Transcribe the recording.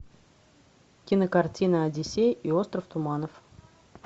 кинокартина одиссей и остров туманов